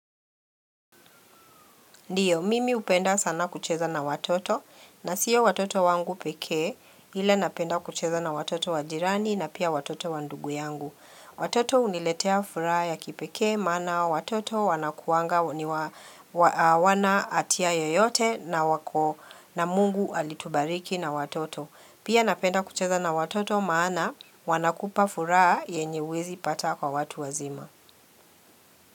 Ndiyo, mimi hupenda sana kucheza na watoto, na sio watoto wangu pekee, ila napenda kucheza na watoto wa jirani na pia watoto wa ndugu yangu. Watoto uniletea furaha ya kipekee, maana watoto wanakuanga hawana hatia yoyote na Mungu alitubariki na watoto. Pia napenda kucheza na watoto, maana wanakupa furaha yenye huwezi pata kwa watu wazima.